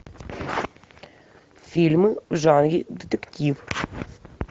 фильмы в жанре детектив